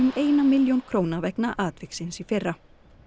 eina milljón króna vegna atviksins í fyrra